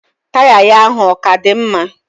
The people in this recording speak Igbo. Taya ya ahụ oka di mma?